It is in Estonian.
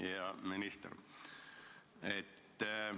Hea minister!